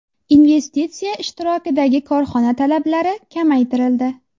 Investitsiya ishtirokidagi korxona talablari kamaytirildi.